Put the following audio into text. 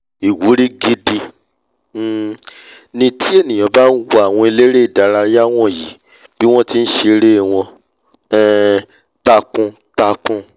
ìwúrí gidi um ni tí ènìà bá nwo àwọn eléré ìdárayá wọ̀nyí bí wọ́n ti nṣeré wọn um takuntakun